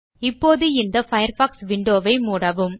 இப்போது இந்த Firefox window வை மூடவும்